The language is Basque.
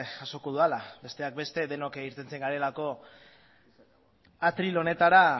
jasoko dudala besteak beste denok irteten garelako atril honetara